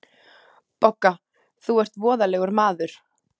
BOGGA: Þú ert voðalegur maður.